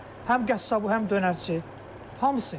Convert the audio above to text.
Həm qəssabı, həm dönərçisi, hamısı.